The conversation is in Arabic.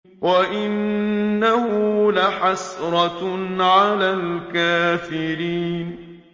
وَإِنَّهُ لَحَسْرَةٌ عَلَى الْكَافِرِينَ